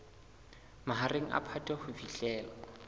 mahareng a phato ho fihlela